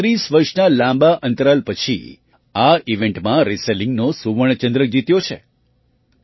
તેમણે ૩૨ વર્ષના લાંબા અંતરાલ પછી આ ઇવેન્ટમાં રેસલિંગનો સુવર્ણ ચંદ્રક જીત્યો છે